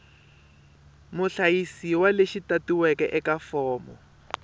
muhlayisiwa lexi tatiweke eka fomo